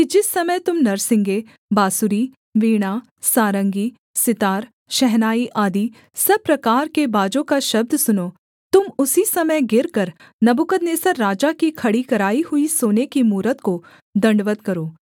जिस समय तुम नरसिंगे बाँसुरी वीणा सारंगी सितार शहनाई आदि सब प्रकार के बाजों का शब्द सुनो तुम उसी समय गिरकर नबूकदनेस्सर राजा की खड़ी कराई हुई सोने की मूरत को दण्डवत् करो